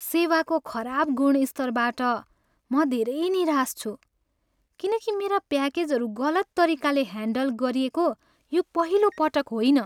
सेवाको खराब गुणस्तरबाट म धेरै निराश छु, किनकि मेरा प्याकेजहरू गलत तरिकाले ह्यान्डल गरिएको यो पहिलो पटक होइन।